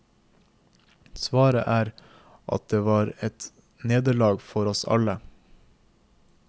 Svaret er at det var et nederlag for oss alle.